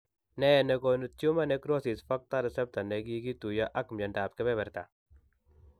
Nee ne koonu tumor necrosis factor receptor ne kikituiyo ak myondap keberberta ?